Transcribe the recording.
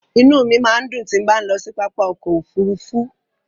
Inú mi máa ń dùn tí bá ń lọ sí pápá ọkọ̀ Òfurufú.